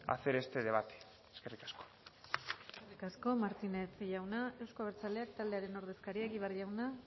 hacer este debate eskerrik asko eskerrik asko martínez jauna euzko abertzaleak taldearen ordezkaria egibar jauna